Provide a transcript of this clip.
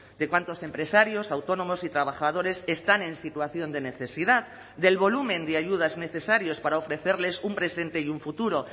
de cuántos empresarios autónomos y trabajadores están en situación de necesidad del volumen de ayudas necesarios para ofrecerles un presente y un futuro